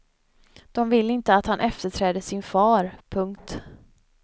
De vill inte att han efterträder sin far. punkt